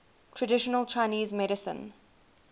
traditional chinese medicine